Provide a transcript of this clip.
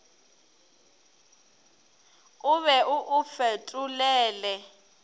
o be o o fetolele